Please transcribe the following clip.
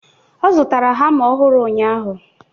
Ọ zụtara hama ọhụrụ ụnyaahụ.